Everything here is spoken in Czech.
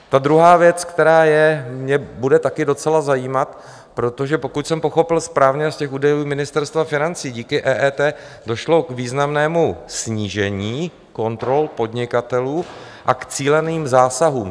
Ta druhá věc, která mě bude také docela zajímat, protože pokud jsem pochopil správně z těch údajů Ministerstva financí, díky EET došlo k významnému snížení kontrol podnikatelů a k cíleným zásahům.